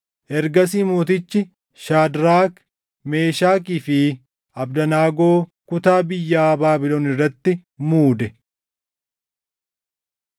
Ergasii mootichi Shaadraak, Meeshakii fi Abdanaagoo kutaa biyyaa Baabilon irratti muude.